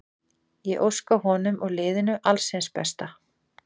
Ég óska honum og liðinu alls hins besta.